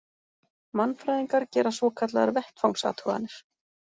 Mannfræðingar gera svokallaðar vettvangsathuganir.